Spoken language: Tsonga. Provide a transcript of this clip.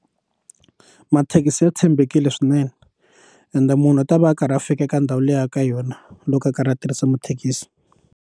Mathekisi ya tshembekile swinene ende munhu a ta va a karhi a fika eka ndhawu liya ka yona loko a karhi a tirhisa mathekisi.